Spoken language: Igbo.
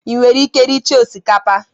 ị nwere ike rie chaa osikapa?